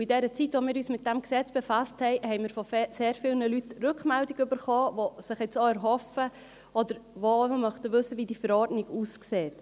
In der Zeit, in der wir uns mit dem Gesetz befasst haben, haben wir von sehr vielen Leuten Rückmeldungen erhalten, die sich jetzt erhoffen oder wissen möchten, wie diese Verordnung aussieht.